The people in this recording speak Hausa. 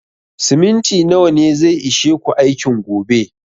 Siminti nawa ne zai ishe ku aikin gobe?